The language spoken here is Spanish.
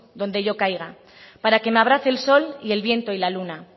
donde yo caiga para que me abrace el sol y el viento y la luna